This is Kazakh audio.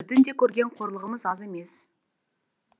біздің де көрген қорлығымыз аз емес